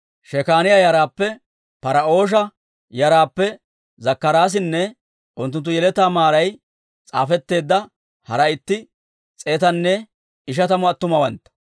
Shekaaniyaa yaraappe, Par"oosha yaraappe Zakkaraasinne unttunttu yeletaa maaray s'aafetteedda hara itti s'eetanne ishatamu attumawantta,